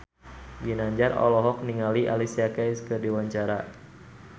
Ginanjar olohok ningali Alicia Keys keur diwawancara